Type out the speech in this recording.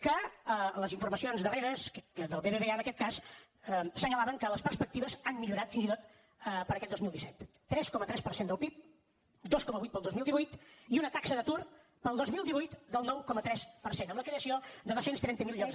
que les informacions darreres del bbva en aquest cas assenyalaven que les perspectives han millorat fins i tot per a aquest dos mil disset tres coma tres per cent del pib dos coma vuit per al dos mil divuit i una taxa d’atur per al dos mil divuit del nou coma tres per cent amb la creació de dos cents i trenta miler llocs